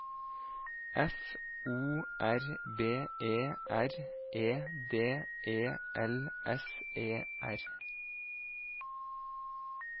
F O R B E R E D E L S E R